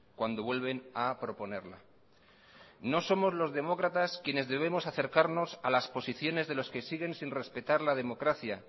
cuando vuelven a proponerla no somos los demócratas quienes debemos acercarnos a las posiciones de los que siguen sin respetar la democracia